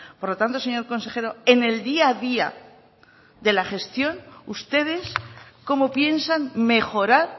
por lo tanto señor consejero en el día a día de la gestión ustedes cómo piensan mejorar